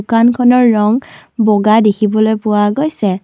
দোকানখনৰ ৰং বগা দেখিবলৈ পোৱা গৈছে।